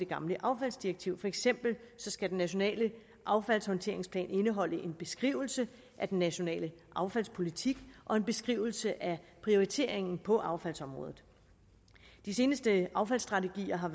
gamle affaldsdirektiv for eksempel skal den nationale affaldshåndteringsplan indeholde en beskrivelse af den nationale affaldspolitik og en beskrivelse af prioriteringen på affaldsområdet de seneste affaldsstrategier har